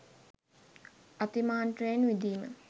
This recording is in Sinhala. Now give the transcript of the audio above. අතිමාත්‍රයෙන් විඳීම